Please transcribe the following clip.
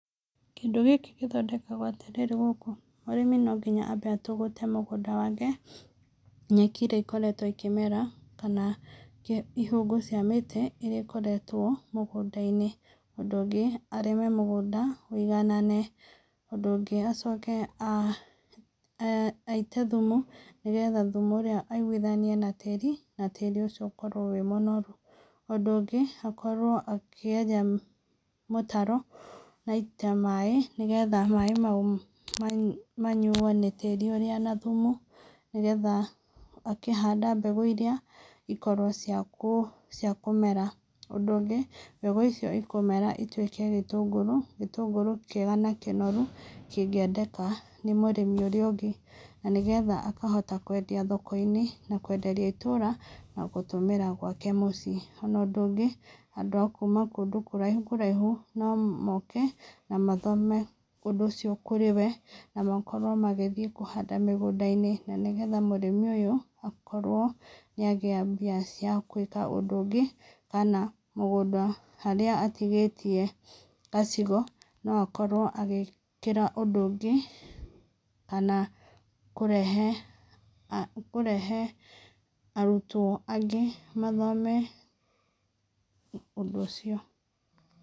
Kĩndũ gĩkĩ gĩthondekagwo atĩrĩrĩ gũkũ, mũrĩmi no nginya ambe atũgũte mũgũnda wake, nyeki ĩrĩa ĩkoretwo ĩkĩmera kana ihũgũ cia mĩtĩ iria ikoretwo mũgũnda-inĩ, ũndũ ũngĩ arĩme mũgũnda wũiganane, ũndũ ũngĩ acoke aite thimu, nĩgetha tĩri ũria aiguithanie na tĩri na tĩri ũcio ũkorwo wĩ mũnoru , ũndũ ũngĩ akorwo akĩenja mĩtaro na aite maĩ nĩgetha maĩ mau manyo nĩ tĩri ũrĩa na thumu nĩgetha akahanda mbegũ iria ikorwo cia kũmera. Ũndũ ũngĩ mbegu icio cikũmera ituĩke gĩtũngũrũ kĩega na kĩnoru, kĩngĩendeka nĩ mũrĩmi ũrĩa ũngĩ nĩgetha akahota kwendia thoko-inĩ na kwenderia itũũra na gũtũmĩra gwake mũciĩ. Ona ũndũ ũngĩ andũ akuma kũraihu kũraihu no moke na mathome ũndũ ũcio kũrĩ we na makorwo magĩthiĩ kũhanda mĩgũnda-inĩ na nĩgetha mũrĩmi ũyũ akorwo nĩ agĩa mbia cia gwĩka ũndũ ũngĩ kana mũgũnda harĩa atigĩtie gacigo no akorwo agĩkĩra ũndũ ũngĩ kana kũrehe, kũrehe arutwo angĩ mathome ũndũ ũcio.